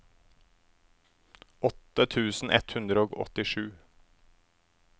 åtte tusen ett hundre og åttisju